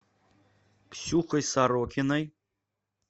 ксюхой сорокиной